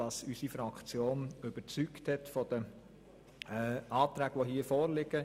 Diese haben unsere Fraktion im Sinne der hier vorliegenden Anträge überzeugt.